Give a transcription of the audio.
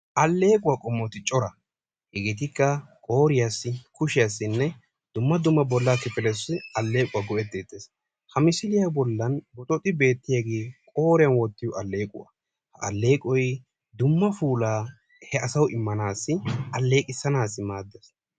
Alleequwa qommoti cora. Hegeetikka qooriyassi, kushiyassinne dumma dumma bollaa kifletussi alleequwa go"etteettes. Ha misiliya bollan boxooxi beettiyaagee qooriyan wottiyo alleequwa. Ha alleeqoy dumma puulaa he asawu immaanaassi alleeqisanaassi maaddes.